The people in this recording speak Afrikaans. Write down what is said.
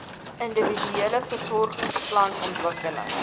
individuele versorgingsplan ontwikkel